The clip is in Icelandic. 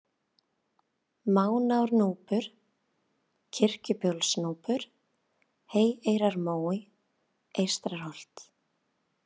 Mánárnúpur, Kirkjubólsnúpur, Heyeyrarmói, Eystra-Holt